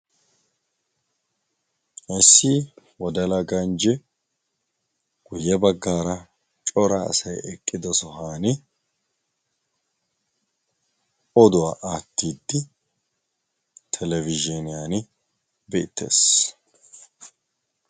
Issi wodala ganjje guyye baggaara cora asai eqqido sohan oduwaa atiddi telebizhiniyaan beettees.